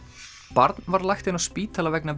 barn var lagt inn á spítala vegna